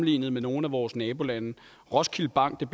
i nogle af vores nabolande roskilde bank er